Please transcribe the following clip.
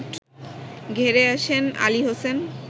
ঘেরে আসেন আলী হোসেন